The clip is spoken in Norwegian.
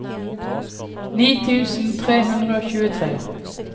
ni tusen tre hundre og tjuetre